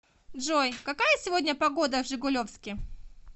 джой какая сегодня погода в жигулевске